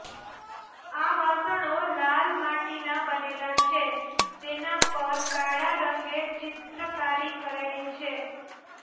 આ વાસણો લાલ માટીના બનેલા છે તેના પર કાળા રંગે ચિત્રકારી કરેલી છે